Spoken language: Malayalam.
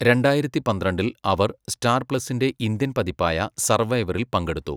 രണ്ടായിരത്തി പന്ത്രണ്ടിൽ അവർ സ്റ്റാർ പ്ലസിന്റെ ഇന്ത്യൻ പതിപ്പായ സർവൈവറിൽ പങ്കെടുത്തു.